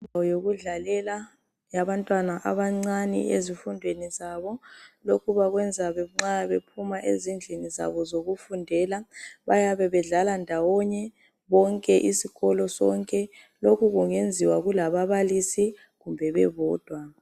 Indawo yokudlalela yabantwana abancane ezifundweni zabo lokhu bakwenza nxa bephuma ezindlini zabo zokufundela bayabe bedlala ndawonye bonke isikolo sonke lokhu kungenziwa kula babalisi kumbe bebodwa